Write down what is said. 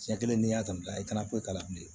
Siɲɛ kelen n'i y'a ta i tana foyi t'a la bilen